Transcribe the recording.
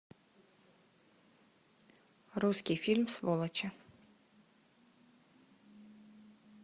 русский фильм сволочи